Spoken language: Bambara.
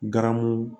Garamu